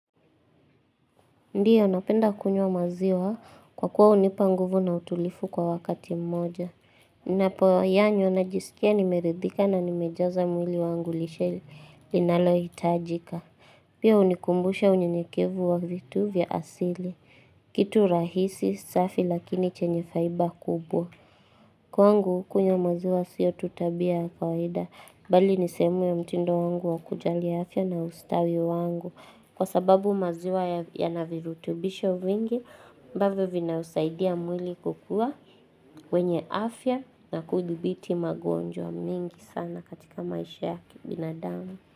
Ndiyo, napenda kunywa maziwa kwa kuwa hunipa nguvu na utulivu kwa wakati mmoja. Ninapoyanywa najisikia nimeridhika na nimejaza mwili wangu lishe linalohitajika. Pia hunikumbusha unyenyekevu wa vitu vya asili. Kitu rahisi safi lakini chenye faida kubwa. Kwangu kunywa maziwa siyo tu tabia ya kawaida. Bali ni sehemu ya mtindo wangu wa kujali afya na ustawi wangu. Kwa sababu maziwa yana virutubisho vingi ambavyo vinausaidia mwili kukuwa wenye afya na kuthibiti magonjwa mengi sana katika maisha ya kibinadamu.